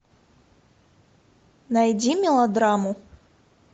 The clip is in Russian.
найди мелодраму